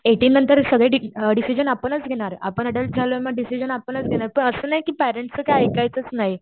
एटीननंतर सगळे डिसिजन आपण घेणार . अडल्ट झाल्यानंतर सगळे डिसिजन आपणच देणार पण असं नाही की पॅरेंट्सचं काही ऐकायचच नाही.